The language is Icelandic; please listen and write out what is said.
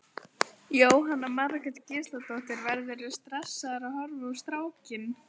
Jóhanna Margrét Gísladóttir: Verðurðu stressaður að horfa á strákinn?